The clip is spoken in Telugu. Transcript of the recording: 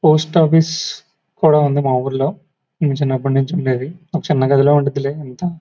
పోస్ట్ ఆఫీస్ కూడా ఉంది మా ఊర్లో ఇది చిన్నప్పటినుండి ఉండేది ఒక చిన్న గది ఉండేది లే అంత --